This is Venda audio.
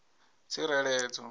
tsireledzo